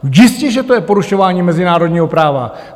Jistě že to je porušování mezinárodního práva.